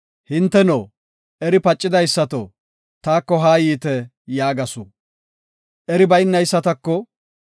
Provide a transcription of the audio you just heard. “Hinteno, eri pacidaysato taako haa yiite” yaagasu. Eri baynaysatako,